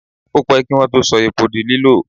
Ó pẹ́ kí Wọ́n tó sọ epo di lílò.